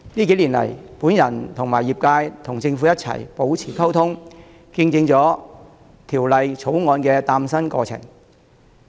近年，我和業界與政府保持溝通，見證了《條例草案》的誕生。